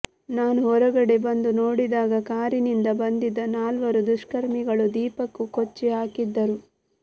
ನಾನು ಹೊರಗಡೆ ಬಂದು ನೋಡಿದಾಗ ಕಾರಿನಿಂದ ಬಂದಿದ್ದ ನಾಲ್ವರು ದುಷ್ಕರ್ಮಿಗಳು ದೀಪಕ್ ಕೊಚ್ಚಿಹಾಕಿದ್ದರು